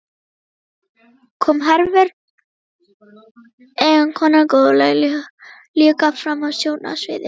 Og nú kom Hervör, eiginkonan góðlega, líka fram á sjónarsviðið.